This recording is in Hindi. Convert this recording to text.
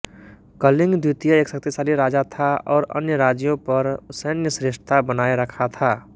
कलिंग द्वितीय एक शक्तिशाली राजा था और अन्य राज्यों पर सैन्य श्रेष्ठता बनाए रखा था